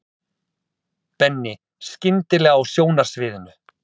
Benni skyndilega á sjónarsviðinu.